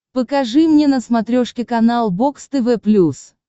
покажи мне на смотрешке канал бокс тв плюс